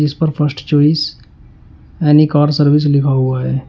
इस पर first choice any car service लिखा हुआ है।